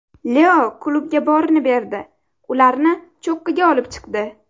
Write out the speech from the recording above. Leo klubga borini berdi, ularni cho‘qqiga olib chiqdi.